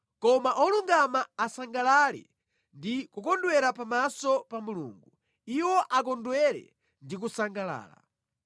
Koma olungama asangalale ndi kukondwera pamaso pa Mulungu; iwo akondwere ndi kusangalala.